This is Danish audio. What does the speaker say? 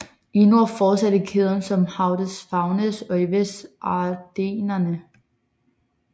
I nord fortsætter kæden som Hautes Fagnes og i vest Ardennerne